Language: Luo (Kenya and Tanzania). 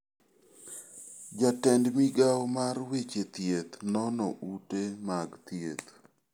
Jatend migao mar weche thieth nono ute mag thieth.